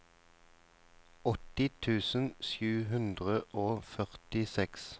åtti tusen sju hundre og førtiseks